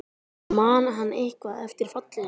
En man hann eitthvað eftir fallinu?